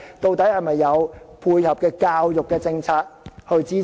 有沒有相關的教育政策支持？